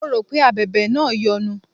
Mo rò pé Abẹ̀bẹ̀ náà yọnu.